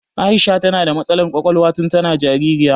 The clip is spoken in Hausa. Aisha ta na da matsalar ƙwaƙwalwa tun ta na jaririya